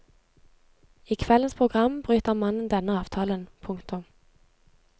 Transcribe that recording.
I kveldens program bryter mannen denne avtalen. punktum